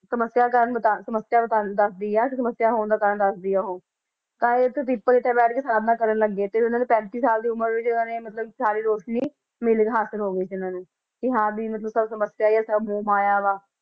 ਸਮੱਸਿਆ ਦਾ ਕਾਰਨ ਬਤਾ~ ਸਮੱਸਿਆ ਦਾ ਕਾਰਨ ਦੱਸਦੀ ਆ ਕਿ ਸਮੱਸਿਆ ਹੋਣ ਦਾ ਕਾਰਨ ਦੱਸਦੀ ਆ ਉਹ, ਤਾਂ ਇਹ ਪਿੱਪਲ ਹੇਠਾਂ ਬੈਠ ਕੇ ਸਾਧਨਾ ਕਰਨ ਲੱਗ ਗਏ ਤੇ ਇਹਨਾਂ ਨੇ ਪੈਂਤੀ ਸਾਲ ਦੀ ਉਮਰ ਵਿੱਚ ਇਹਨਾਂ ਨੇ ਮਤਲਬ ਸਾਰੀ ਰੋਸ਼ਨੀ ਮਿਲੀ ਹਾਸਿਲ ਹੋ ਗਈ ਸੀ ਇਹਨਾਂ ਨੂੰ ਕਿ ਹਾਂ ਵੀ ਸਭ ਸਮੱਸਿਆ ਇਹ ਸਭ ਮੋਹ ਮਾਇਆ ਵਾ।